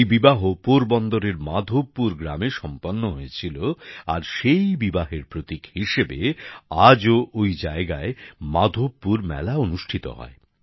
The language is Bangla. এই বিবাহ পোরবন্দরের মাধবপুর গ্রামে সম্পন্ন হয়েছিল আর সেই বিবাহের প্রতীক হিসেবে আজও ওই জায়গায় মাধবপুর মেলা অনুষ্ঠিত হয়